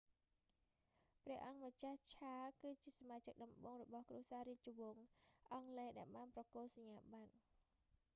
ព្រះអង្គម្ចាស់ charles ឆាល គឺជាសមាជិកដំបូងរបស់គ្រួសាររាជវង្សអង់គ្លេសដែលបានប្រគល់ សញ្ញាប័ត្រ